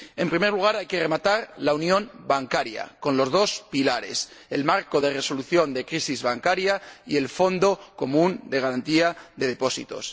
En primer lugar, hay que rematar la unión bancaria con los dos pilares el marco de resolución de crisis bancaria y el fondo común de garantía de depósitos.